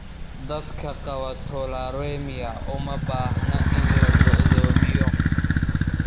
Dadka qaba tularemia uma baahna in la go'doomiyo.